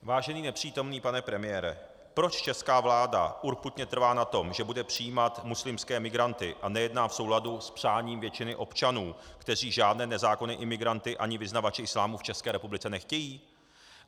Vážený nepřítomný pane premiére, proč česká vláda urputně trvá na tom, že bude přijímat muslimské migranty, a nejedná v souladu s přáním většiny občanů, kteří žádné nezákonné imigranty ani vyznavače islámu v České republice nechtějí?